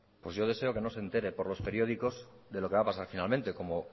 pues yo deseo que no se entere por los periódicos de lo que va a pasar finalmente como